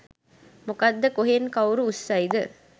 මොකද කොහෙන් කවුරු උස්සයිද